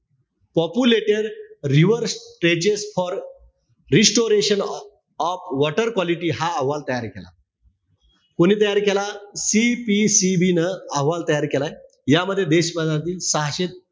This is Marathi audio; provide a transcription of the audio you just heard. Populated reverse stages for restoration of water quality हा अहवाल तयार केला. कोणी तयार केला? CPCB न अहवाल तयार केलाय. यामध्ये देशभरातील सहाशे,